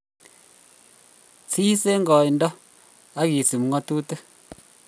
sis eng' koindo ak isub ngatutik